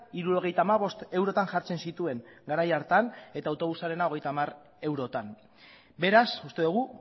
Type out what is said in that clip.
hirurogeita hamabost eurotan jartzen zituen garai hartan eta autobusarena hogeita hamar eurotan beraz uste dugu